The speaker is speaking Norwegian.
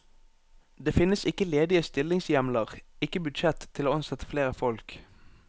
Det finnes ikke ledige stillingshjemler, ikke budsjett til å ansette flere folk.